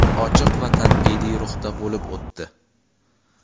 ochiq va tanqidiy ruhda bo‘lib o‘tdi.